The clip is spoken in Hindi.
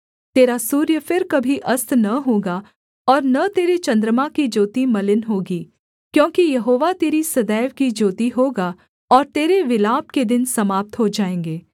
तेरा सूर्य फिर कभी अस्त न होगा और न तेरे चन्द्रमा की ज्योति मलिन होगी क्योंकि यहोवा तेरी सदैव की ज्योति होगा और तेरे विलाप के दिन समाप्त हो जाएँगे